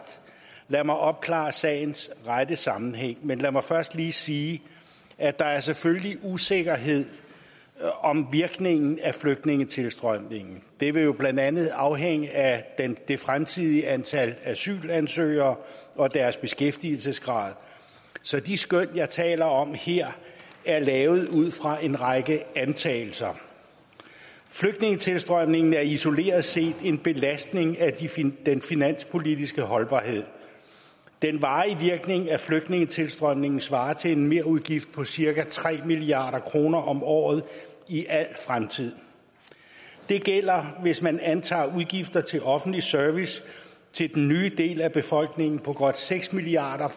lad mig opklare sagens rette sammenhæng men lad mig først lige sige at der selvfølgelig er usikkerhed om virkningen af flygtningetilstrømningen det vil jo blandt andet afhænge af det fremtidige antal asylansøgere og deres beskæftigelsesgrad så de skøn jeg taler om her er lavet ud fra en række antagelser flygtningetilstrømningen er isoleret set en belastning af den finanspolitiske holdbarhed den varige virkning af flygtningetilstrømningen svarer til en merudgift på cirka tre milliard kroner om året i al fremtid det gælder hvis man antager at udgifterne til offentlig service til den nye del af befolkningen bliver på godt seks milliard